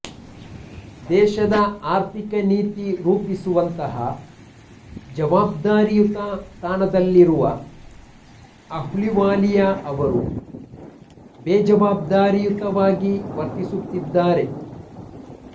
ದೇಶದ ಆರ್ಥಿಕ ನೀತಿ ರೂಪಿಸುವಂತಹ ಜವಾಬ್ದಾರಿಯುತ ಸ್ಥಾನದಲ್ಲಿರುವ ಅಹ್ಲುವಾಲಿಯ ಅವರು ಬೇಜವಾಬ್ದಾರಿಯುತವಾಗಿ ವರ್ತಿಸುತ್ತಿ ದ್ದಾರೆ